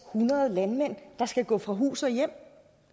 hundrede landmænd der skal gå fra hus og hjem